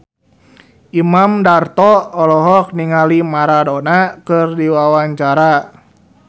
Imam Darto olohok ningali Maradona keur diwawancara